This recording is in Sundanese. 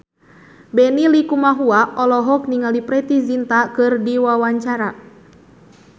Benny Likumahua olohok ningali Preity Zinta keur diwawancara